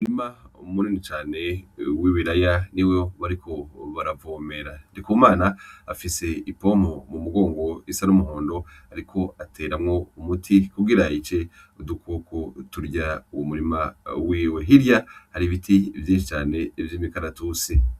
Umurima mu nini cane w'ibiraya niwo bariko baravomera, Ndikumana afise ipompo mu mugongo isa n'umuhondo ariko ateramwo umuti kugira yice udukoko turya umurima wiwe, Hirya hari ibiti vyishi cane vyimi karatusi.